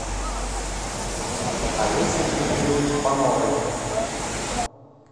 олеси дмитриевны пановой